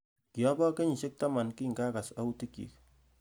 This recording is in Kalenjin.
Kiobo kenyisiek taman kingakas autik chik